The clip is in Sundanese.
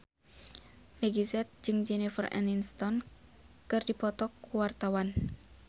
Meggie Z jeung Jennifer Aniston keur dipoto ku wartawan